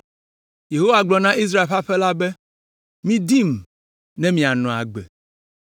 Yehowa gblɔ na Israel ƒe aƒe la be, “Midim, ne mianɔ agbe.